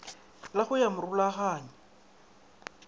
la go ya go morulaganyi